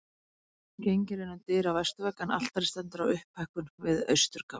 Gengið er inn um dyr á vesturvegg en altarið stendur á upphækkun við austurgafl.